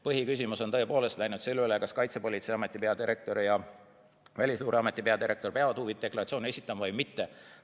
Põhiküsimuseks on tõepoolest saanud see, kas Kaitsepolitseiameti peadirektor ja Välisluureameti peadirektor peavad huvide deklaratsioone esitama või mitte.